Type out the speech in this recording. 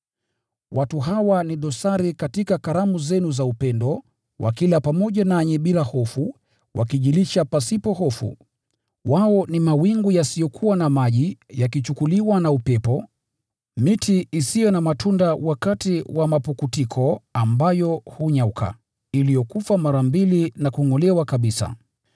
Watu hawa ni dosari katika karamu zenu za upendo, wakila pamoja nanyi bila hofu, wakijilisha pasipo hofu. Wao ni mawingu yasiyokuwa na maji, yakichukuliwa na upepo, miti isiyo na matunda wakati wa mapukutiko, ambayo hunyauka, iliyokufa mara mbili na kungʼolewa kabisa.